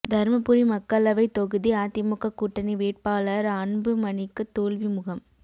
தர்மபுரி மக்களவைத் தொகுதி அதிமுக கூட்டணி வேட்பாளர் அன்புமணிக்கு தோல்வி முகம்